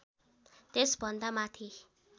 त्यसभन्दा माथि